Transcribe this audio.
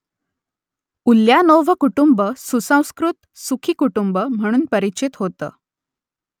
Ulyanov कुटुंब सुसंस्कृत , सुखी कुटुंब म्हणून परिचित होतं